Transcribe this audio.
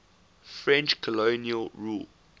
french colonial rule